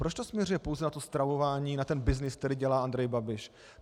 Proč to směřuje pouze na to stravování, na ten byznys, který dělá Andrej Babiš.